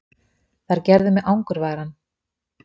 Þær gerðu mig angurværan.